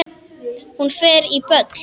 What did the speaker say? Hún fer á böll!